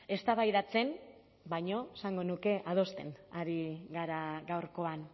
eztabaidatzen baino esango nuke adosten ari gara gaurkoan